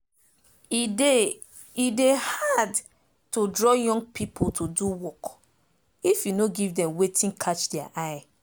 e dey e dey hard to draw young pipo to do work if you nor give dem wetin catch deir eye